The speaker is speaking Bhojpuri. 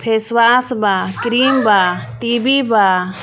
फेसवॉश बा क्रीम बा टी_वी बा.